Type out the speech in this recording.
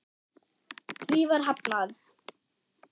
Því var hafnað.